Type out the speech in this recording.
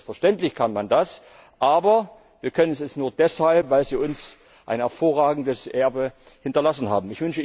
Selbstverständlich kann man das, aber wir können es nur deshalb, weil Sie uns ein hervorragendes Erbe hinterlassen haben!